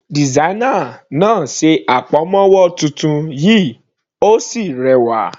Designer náà ṣe àpamọ́wọ́ titun yìí Ó sì rẹwà.